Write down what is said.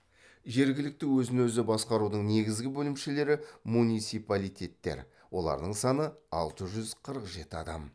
жергілікті өзін өзі басқарудың негізгі бөлімшелері муниципалитеттер олардың саны алты жүз қырық жеті адам